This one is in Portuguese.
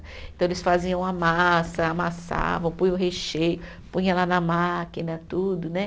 Então, eles faziam a massa, amassavam, põe o recheio, põe ela na máquina, tudo, né?